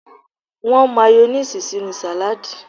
Won Mayonnaise sinu salad